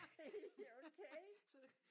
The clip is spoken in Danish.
Nej haha okay